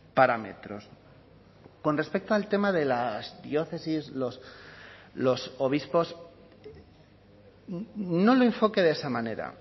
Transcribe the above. parámetros con respecto al tema de las diócesis los obispos no lo enfoque de esa manera